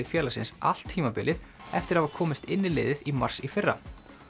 félagsins allt tímabilið eftir að hafa komist inn í liðið í mars í fyrra